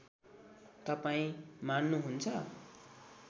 तपाईँ मान्नुहुन्छ